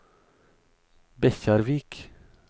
Bekkjarvik